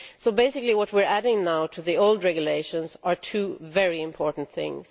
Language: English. Basically what we are adding now to the old regulations are two very important things.